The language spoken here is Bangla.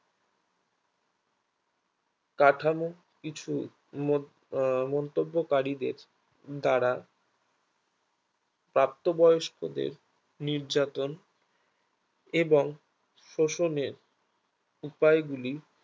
কাঠামো কিছু আহ মন্তব্যকারীদের দ্বারা প্রাপ্তবয়স্কদের নির্যাতন এবং শোষণে উপায়গুলি